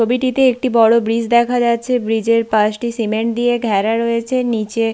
ছবিটিতে একটি বড় ব্রিজ দেখা যাচ্ছে ব্রিজ -এর পাশটি সিমেন্ট দিয়ে ঘেরা রয়েছে নিচে--